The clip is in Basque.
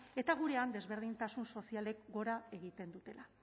eta gurean desberdintasun sozialek gora egiten dutela